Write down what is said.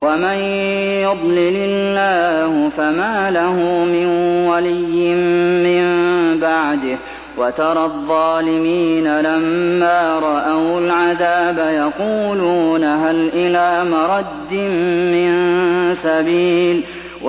وَمَن يُضْلِلِ اللَّهُ فَمَا لَهُ مِن وَلِيٍّ مِّن بَعْدِهِ ۗ وَتَرَى الظَّالِمِينَ لَمَّا رَأَوُا الْعَذَابَ يَقُولُونَ هَلْ إِلَىٰ مَرَدٍّ مِّن سَبِيلٍ